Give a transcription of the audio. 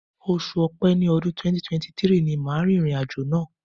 Oṣù Ọ̀pẹ tí ọdún 2023 ni màá rìnrìn àjò náà.